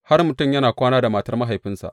Har mutum yana kwana da matar mahaifinsa.